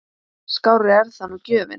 Skárri er það nú gjöfin!